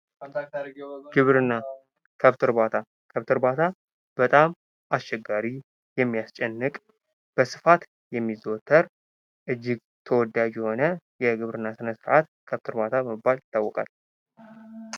በግብርና ክብት እርባታ በጣም አስቸጋሪ የሚያስጨንቅ በስፋት የሚዘወተር እጅግ ተወዳጅ የሆነ የግብርና ስለስርአት ክብት እርባታ በመባል ይታወቃል።